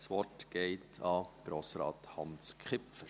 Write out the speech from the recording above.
Das Wort geht an Grossrat Hans Kipfer.